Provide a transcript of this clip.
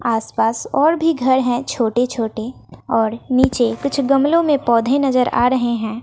आस पास और भी घर है छोटे छोटे और नीचे कुछ गमलो में पौधे नजर आ रहे है।